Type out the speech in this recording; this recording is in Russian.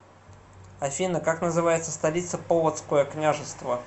афина как называется столица полоцкое княжество